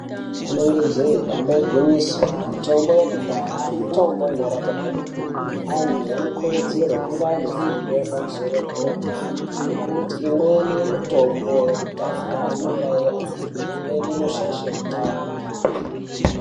Ingaaa jee damba igwinyiso ,mitombo yekudhaya inorapa kwemene vanhu vano kurudzirwa kuti vange vanefundo yepamusoro yepadera nekuti imweni mitombo yekudhaya inouraya antu imweni inoshaisha hutano.